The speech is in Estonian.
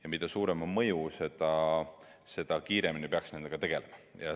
Ja mida suurem on mõju, seda kiiremini peaks nendega tegelema.